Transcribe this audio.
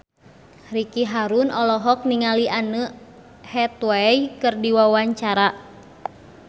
Ricky Harun olohok ningali Anne Hathaway keur diwawancara